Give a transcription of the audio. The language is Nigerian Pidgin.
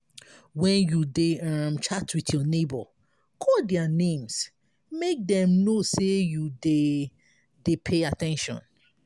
when you dey um chat with your neigbour call their names make dem know say you dey dey pay at ten tion